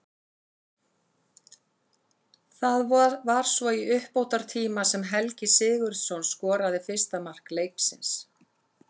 Það var svo í uppbótartíma sem Helgi Sigurðsson skoraði fyrsta mark leiksins.